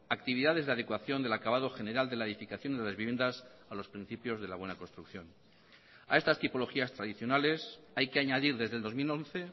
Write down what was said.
actividades de adecuación del acabado general de la edificación de las viviendas a los principios de la buena construcción a estas tipologías tradicionales hay que añadir desde el dos mil once